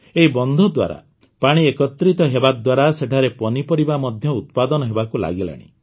ଏହି ବନ୍ଧ ଦ୍ୱାରା ପାଣି ଏକତ୍ରିତ ହେବାଦ୍ୱାରା ସେଠାରେ ପନିପରିବା ମଧ୍ୟ ଉତ୍ପାଦନ ହେବାକୁ ଲାଗିଲାଣି